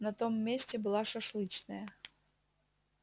на том месте была шашлычная